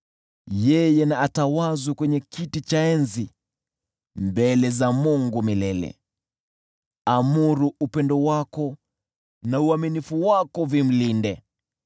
Yeye na atawazwe kwenye kiti cha enzi mbele za Mungu milele; amuru upendo wako na uaminifu wako vimlinde.